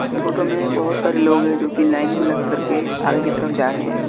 इस फोटो में बोहोत सारे लोग है जो की लाइन में लग कर के आगे की तरफ जा रहे हैं।